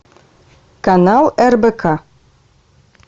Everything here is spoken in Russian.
канал рбк